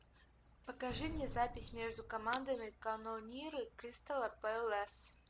покажи мне запись между командами канониры кристала пэлас